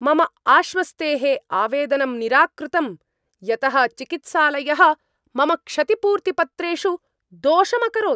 मम आश्वस्तेः आवेदनं निराकृतं, यतः चिकित्सालयः मम क्षतिपूर्तिपत्रेषु दोषम् अकरोत्।